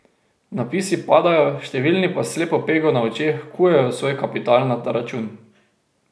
Napisi padajo, številni pa s slepo pego na očeh kujejo svoj kapital na ta račun.